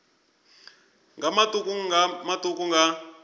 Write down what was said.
nga matuku nga matuku nga